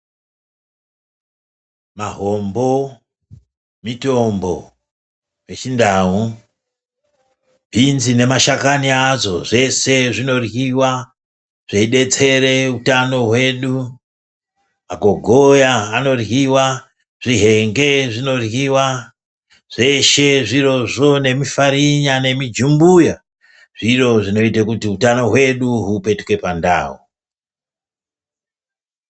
Mahombo mitombo yechindau bhinzi nemashakani adzo zvese zvinoryiwa zveidetsere utano hwedu magogoya anoryiwa ,zvihenge zvinoryiwa ,zveshe zvirozvo nemifarinya nemijumbuya zviro zvinoite kuti utano hwedu hupetuke pandau.